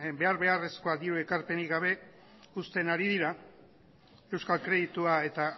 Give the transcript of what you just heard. behar beharrezkoa dion ekarpenik gabe usten ari dira euskal kreditua eta